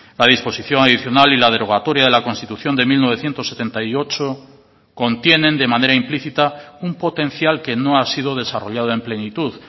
la disposición adicional y la derogatoria de la constitución de mil novecientos setenta y ocho contienen de manera implícita un potencial que no ha sido desarrollado en plenitud